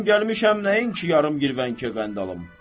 Mən gəlmişəm nəyim ki, yarım girvənkə qənd alım.